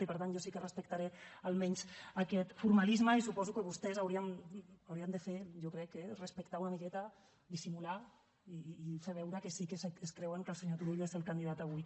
i per tant jo sí que respectaré almenys aquest formalisme i suposo que vostès ho haurien de fer jo crec eh respectar una miqueta dissimular i fer veure que sí que es creuen que el senyor turull és el candidat avui